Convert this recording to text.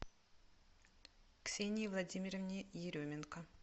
ксении владимировне еременко